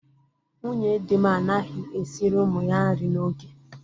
Nwunye di m anaghị esiri ụmụ ya nri n'oge.